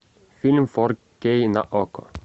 фильм фор кей на окко